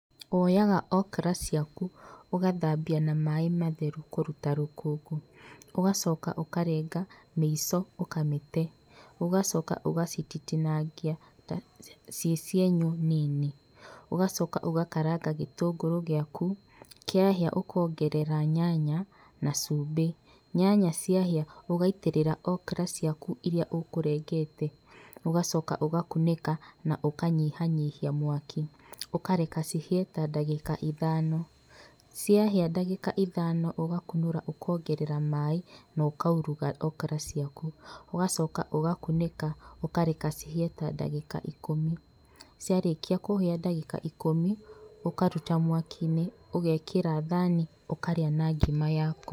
Woyaga okra ciaku ũgathambia na maĩ matheru kũruta rũkũngũ, ũgacoka ũkarenga mĩico ũkamĩte ũgacoka ũgacitinangia ciĩ cienyũ nini, ũgacoka ũgakaranga gĩtũngũrũ giaku, kĩahĩa ũkongerera nyanya na cumbĩ, nyanya ciahĩa ũgaitĩrĩra okra ciaku iria ũkũrengete ũgacoka ũgakunĩka na ũkanyihanyihia mwaki ũkareka cihĩe ta ndagĩka ithano, ciahĩa ndagĩka ithano ũgakunũra ũkongerera maĩ na ũkauruga okra ciaku, ũgacoka ũgakunĩka ũkareka cihie ta ndagĩka ikũmi, ciarĩkia kũhĩa ndagĩka ikũmi, ũkaruta mwakinĩ ũgekĩra thani ũkarĩa na ngima yaku.